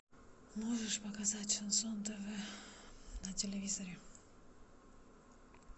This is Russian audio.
можешь показать шансон тв на телевизоре